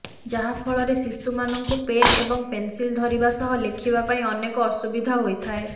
ଯାହା ଫଳରେ ଶିଶୁମାନଙ୍କୁ ପେନ ଏବଂ ପେନସିଲ ଧରିବା ସହ ଲେଖିବା ପାଇଁ ଅନେକ ଅସୁବିଧା ହୋଇଥାଏ